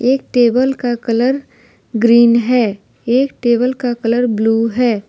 एक टेबल का colour green है एक टेबल का कलर ब्लू है।